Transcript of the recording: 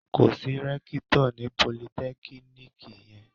Kò sí rẹ́kítọ̀ ní politẹ́kíníkì yẹn.